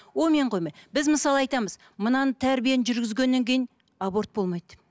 онымен қоймай біз мысалы айтамыз мынаны тәрбиені жүргізгеннен кейін аборт болмайды деп